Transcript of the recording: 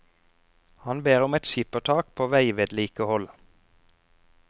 Han ber om et skippertak på veivedlikehold.